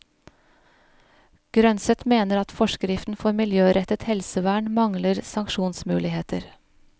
Grønset mener at forskriften for miljørettet helsevern mangler sanksjonsmuligheter.